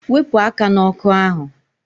Wepụ aka n'ọkụ ahụ!